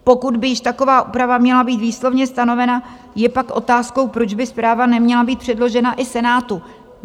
Pokud by již taková úprava měla být výslovně stanovena, je pak otázkou, proč by zpráva neměla být předložena i Senátu.